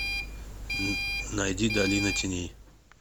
найди долина теней